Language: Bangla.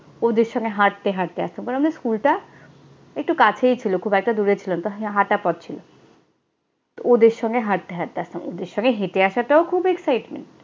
ওদের সঙ্গে হাঁটতে হাঁটতে আসতাম। তবে আমাদের স্কুলটা একটু কাছেই ছিল, খুব একটা দূরে ছিল না হাঁটা পথ ছিল। তো ওদের সঙ্গে হাঁটতে হাঁটতে আসতাম। ওদের সঙ্গে হেঁটে আসাটাও খুব excitement